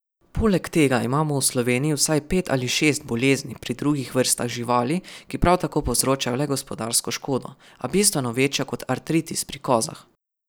Poleg tega imamo v Sloveniji vsaj pet ali šest bolezni pri drugih vrstah živali, ki prav tako povzročajo le gospodarsko škodo, a bistveno večjo kot artritis pri kozah.